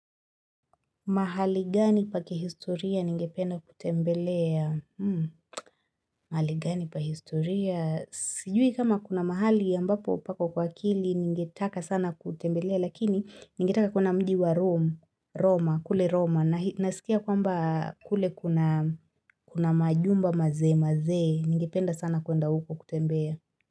Mahali gani pa kihistoria ningependa kutembelea? Mahali gani pa historia? Sijui kama kuna mahali ambapo pako kwa akili ningetaka sana kutembelea lakini ningetaka kuona mji wa Rome Roma, kule Roma. Nasikia kwamba kule kuna majumba mazee, mazee, ningependa sana kuenda huko kutembea.